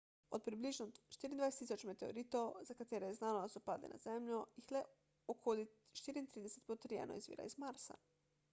od približno 24.000 meteoritov za katere je znano da so padli na zemljo jih le okoli 34 potrjeno izvira iz marsa